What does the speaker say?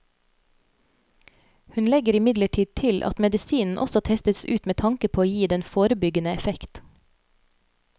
Hun legger imidlertid til at medisinen også testes ut med tanke på å gi den forebyggende effekt.